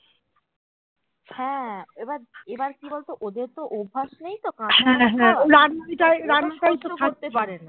হ্যাঁ হ্যাঁ এবার এবার কি বলতো ওদেরতো অভ্যাস নেই তো